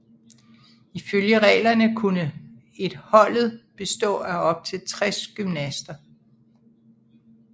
Ifølge reglerne kunne et holdet bestå af op til 60 gymnaster